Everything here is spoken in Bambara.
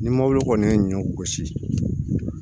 Ni mobili kɔni ye ɲɔ gosi